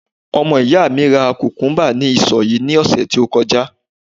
ọmọ iya mi ra kukumba ni isọ yin ni ọsẹ ti o kọjá